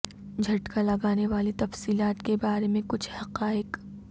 جھٹکا لگانے والی تفصیلات کے بارے میں کچھ حقائق